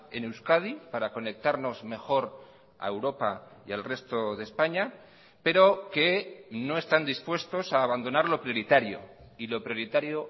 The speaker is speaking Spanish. en euskadi para conectarnos mejor a europa y al resto de españa pero que no están dispuestos a abandonar lo prioritario y lo prioritario